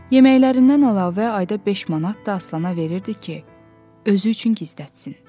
Yeməklərindən əlavə ayda beş manat da Aslana verirdi ki, özü üçün gizlətsin.